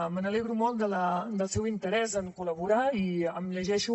me n’alegro molt del seu interès en col·laborar i em llegeixo